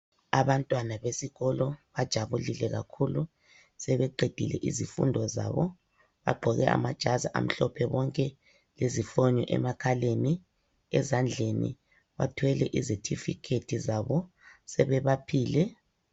Abantwana besikolo bajabulile kakhulu sebeqedile izifundo zabo. Bagqoke amajazi amhlophe bonke lezifonyo emakhaleni. Ezandleni bathwele izetifikethi zabo sebebaphile.